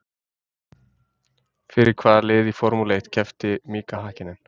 Fyrir hvaða lið í Formúlu eitt keppti Mika Hakkinen?